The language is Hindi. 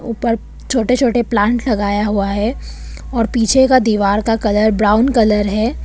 ऊपर छोटे छोटे प्लांट लगाया हुआ है और पीछे का दीवार का कलर ब्राउन कलर है।